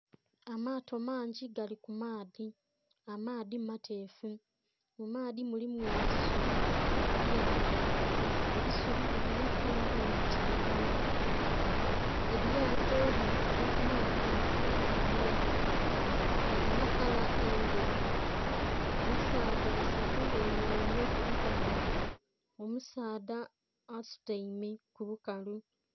Amaato mangi gali ku maadhi, amaadhi mateefu mu maadhi mulimu ebisubi ebya mera ebisubi bilinha kala eya kilagala elyato lili kuva ku maadhi lili kutambula kilinha kala endheru. Abasaadha basatu bemereire ku bukalu, omusaadha asutaime ku bukalu.